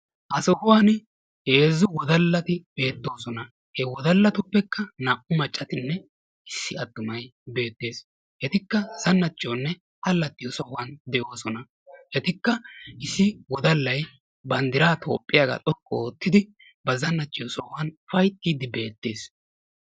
Ha sohuwan heezzu wodalati beettoosona. Ha wodalatuppekka naa"u maccatinne issi attumay beettees. Etikka zanacciyonne alaaxxiyo sohuwan de'oosona. Etikka issi wodallay banddiraa Toophphiyaagaa xoqqu oottidi ba zannacciyo sohuwaan ufayttidi beettees.